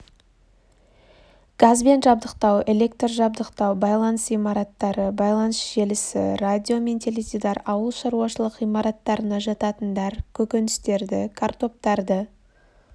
газбен жабдықтау электр жабдықтау байланыс имараттары байланыс желісі радио мен теледидар ауыл шаруашылық ғимараттарына жататындар көкөністерді картоптарды